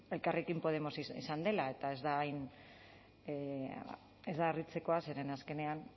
elkarrekin podemos izan dela eta ez da harritzekoa zeren azkenean